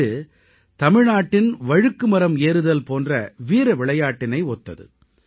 இது தமிழ்நாட்டின் வழுக்குமரம் ஏறுதல் போன்ற வீரவிளையாட்டினை ஒத்தது